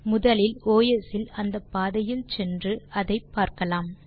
முதலில் ஒஸ் இல் அந்த பாதையில் சென்று அதை பார்க்கலாம்